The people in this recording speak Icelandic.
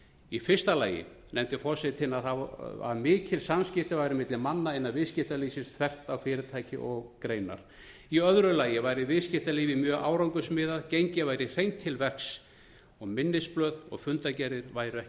í fyrsta lagi nefndi forsetinn að mikil samskipti væru milli manna innan viðskiptalífsins þvert á fyrirtæki og greinar í öðru lagi væri viðskiptalífið mjög árangursmiðað gengið væri hreint til verks og minnisblöð og fundargerðir væru ekki að